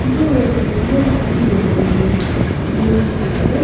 இங்க ஒரு பெரிய லாரி ஒன்னு நின்னுட்ருக் நின்னுட்ருக்கு.